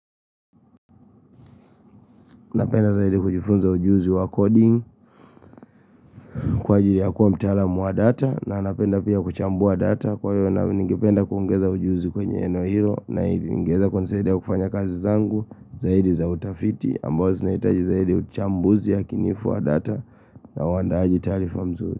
Napenda zaidi kujifunza ujuzi wa coding kwa ajili ya kuwa mtaalam wa data na napenda pia kuchambua data kwa hiyo na ningependa kuongeza ujuzi kwenye eneo hilo na hiyo na hiyo ingeweza kwenye zaidi ya kufanya kazi zangu zaidi za utafiti ambazo sinahitaji zaidi uchambuzi ya kinifua data na wandaaji tarifa mzuri.